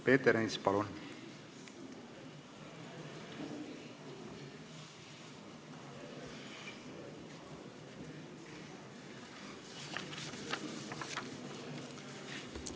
Peeter Ernits, palun!